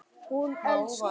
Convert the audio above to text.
Hún elskaði mig.